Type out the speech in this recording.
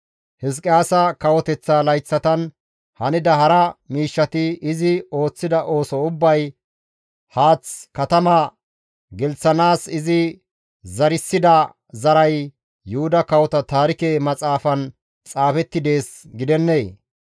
Hizqiyaasa kawoteththa layththatan hanida hara miishshati, izi ooththida ooso ubbay, haath katama gelththanaas izi zarissida zaray Yuhuda Kawota Taarike Maxaafan xaafetti dees gidennee?